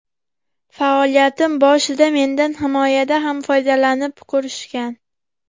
Faoliyatim boshida mendan himoyada ham foydalanib ko‘rishgan.